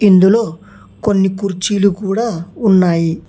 ఇందులో కొన్ని కుర్చీలు కూడా ఉన్నాయి.